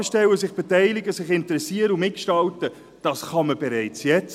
Fragen stellen, sich beteiligen, sich interessieren und mitgestalten, kann man bereits jetzt.